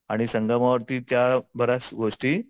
आणि संगमावरती त्या बऱ्याचगोष्टी